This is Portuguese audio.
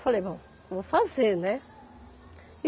Falei, bom, vou fazer, né?